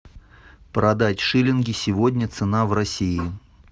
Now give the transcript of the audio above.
продать шилинги сегодня цена в россии